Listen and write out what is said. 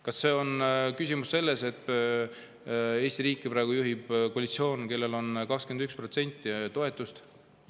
Kas see on küsimus sellest, et Eesti riiki praegu juhib koalitsioon, kellel on 21% toetus?